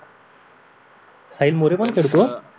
साहिल मोरे पण खेळतो